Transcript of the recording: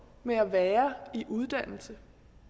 med at være i uddannelse